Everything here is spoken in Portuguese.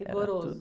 Rigoroso.ra tudo.